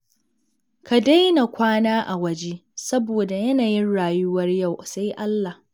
Ka daina kwana a waje saboda yanayin rayuwar yau sai Allah.